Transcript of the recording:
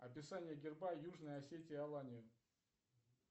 описание герба южной осетии алании